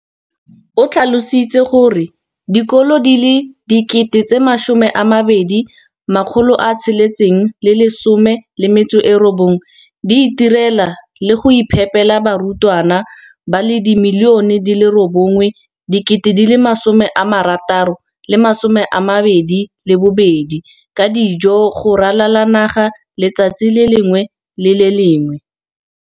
o tlhalositse gore dikolo di le 20 619 di itirela le go iphepela barutwana ba le 9 032 622 ka dijo go ralala naga letsatsi le lengwe le le lengwe.